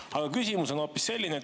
Aga küsimus on hoopis selline.